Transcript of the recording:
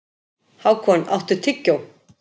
Hákon, áttu tyggjó?